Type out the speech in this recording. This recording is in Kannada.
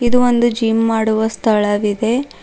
ಇದು ಒಂದು ಜಿಮ್ ಮಾಡುವ ಸ್ಥಳವಿದೆ.